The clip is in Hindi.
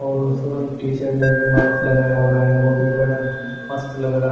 और टीचर ने भी माक्स लगाया हुआ है और ओ भी बड़ा मस्त लग रहा--